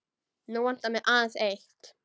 Nú vantar mig aðeins eitt!